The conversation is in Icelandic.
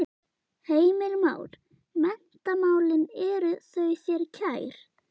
Heimir Már: Menntamálin eru þau þér kær?